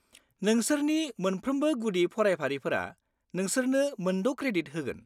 -नोंसोरनि मोनफ्रोमबो गुदि फरायफारिफोरा नोंसोरनो मोनद' क्रेडिट होगोन।